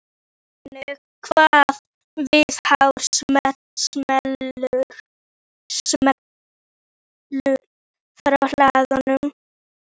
Geirmundur, hvenær kemur leið númer þrettán?